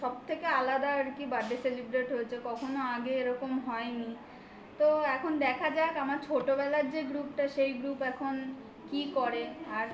আলাদা আর কি birthday celebrate হয়েছে. কখনো আগে এরকম হয়নি তো এখন দেখা যাক আমার ছোটবেলার যে group টা সেই group এখন কি করে আর